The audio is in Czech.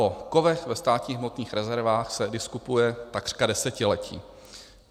O kovech ve státních hmotných rezervách se diskutuje takřka desetiletí.